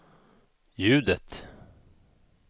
ljudet